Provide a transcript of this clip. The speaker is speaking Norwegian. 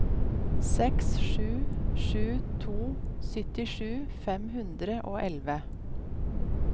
seks sju sju to syttisju fem hundre og elleve